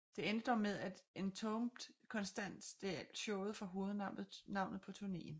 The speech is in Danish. Det endte dog med at Entombed konstant stjal showet fra hovednavnet på turnéen